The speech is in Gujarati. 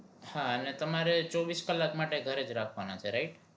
હા અને તમારે ચોવીસ કલાક માટે ઘરે જ રાખવાના છે right